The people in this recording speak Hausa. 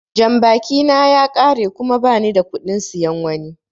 Jambaki na ya ƙare kuma ba nida kuɗin siyan wani.